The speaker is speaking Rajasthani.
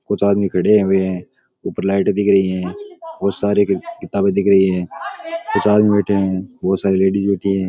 कुछ आदमी खड़े हुए है ऊपर लाइट दिख रही है बोहोत सारे किताबे दिख रही है कुछ आदमी बैठे है बोहोत सारी लेडीस बैठि है।